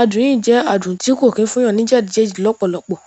adùn yìí jẹ́ adùn tí kò kí ń fún èèyàn ní jẹdijẹdi lọ́pọ̀lọpọ̀.